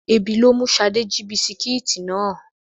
Ebi ló mú Ṣadé jí bisikíìtì ní àná.